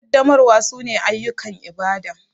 Kaddamarwa su ne ayukan Ibadan